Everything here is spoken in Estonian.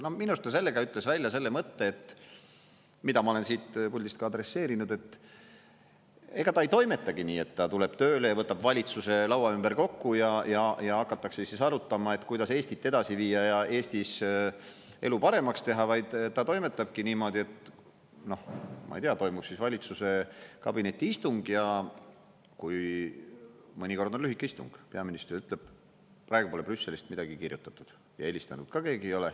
Minu arust ta sellega ütles välja selle mõtte, mida ma olen siit puldist ka adresseerinud, et ega ta ei toimetagi nii, et ta tuleb tööle ja võtab valitsuse laua ümber kokku ja hakatakse arutama, kuidas Eestit edasi viia ja Eestis elu paremaks teha, vaid ta toimetabki niimoodi, ma ei tea, et toimub valitsuse kabinetiistung ja mõnikord on lühike istung, sest peaminister ütleb: "Praegu pole Brüsselist midagi kirjutatud ja helistanud ka keegi ei ole.